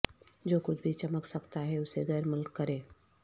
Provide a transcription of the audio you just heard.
جو کچھ بھی چمک سکتا ہے اسے غیرملک کریں